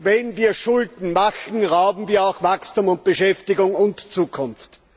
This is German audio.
Wenn wir Schulden machen, rauben wir auch Wachstum und Beschäftigung und Zukunft.